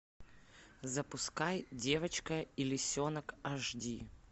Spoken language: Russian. запускай девочка и лисенок аш ди